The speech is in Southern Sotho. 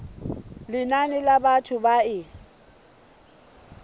lenane la batho ba e